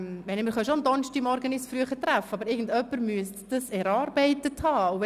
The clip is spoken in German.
Wir können uns schon am Donnerstagmorgen früher treffen, aber irgendjemand müsste das erarbeitet haben.